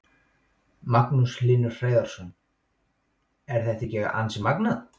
Magnús Hlynur Hreiðarsson: Er þetta ekki ansi magnað?